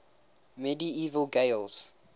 medieval gaels